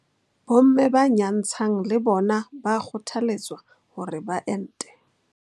Bo mme ba nyantshang le bona ba kgothaletswa hore ba ente.